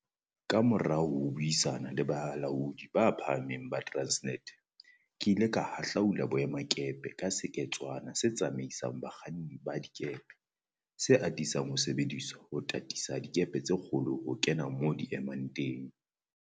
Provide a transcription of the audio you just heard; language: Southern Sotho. Kamora ho buisana le balaodi ba phahameng ba Transnet, ke ile ka hahlaula boemakepe ka seketswana se tsamaisang ba kganni ba dikepe, se atisang ho sebediswa ho tataisa dikepe tse kgolo ho kena moo di emang teng.